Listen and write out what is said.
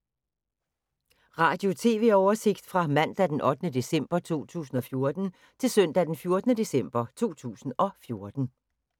Radio/TV oversigt fra mandag d. 8. december 2014 til søndag d. 14. december 2014